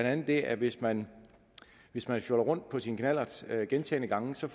andet det at hvis man hvis man fjoller rundt på sin knallert gentagne gange får